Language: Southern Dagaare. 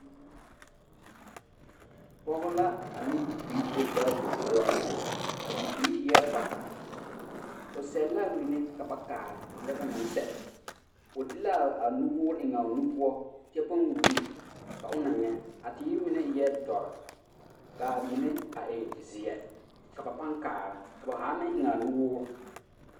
Pɔge la a ane bibiiri be gaadin poɔ, a bibiiri eɛ bata, o sɛle l'a mine ka ba kaara lɛ onaŋ sɛle o de l'a nuwoore eŋ a o nu poɔ kyɛ pãã wuluu ka o na nyɛ a teere mine eɛ dɔre k'a mine a zeɛ ka ba pãã kaara, ba haa meŋ eŋ a nuwoore.